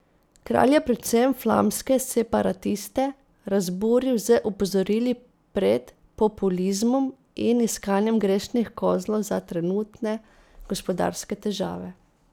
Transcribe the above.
Kralj je predvsem flamske separatiste razburil z opozorili pred populizmom in iskanjem grešnih kozlov za trenutne gospodarske težave.